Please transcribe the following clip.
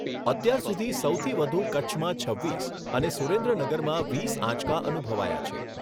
અત્યાર સુધી સૌથી વધુ કચ્છમાં છવ્વીસ અને સુરેન્દ્રનગરમાં વીસ આંચકા અનુભવાયા છે.